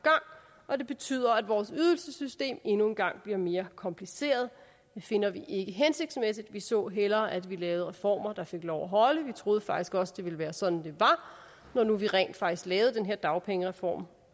og det betyder at vores ydelsessystem endnu en gang bliver mere kompliceret det finder vi ikke hensigtsmæssigt vi så hellere at vi lavede reformer der fik lov at holde vi troede faktisk også det ville være sådan det var når nu vi rent faktisk lavede den her dagpengereform